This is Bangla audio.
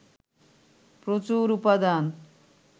প্রচুর উপাদান